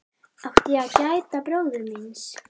Átti ég að gæta bróður míns?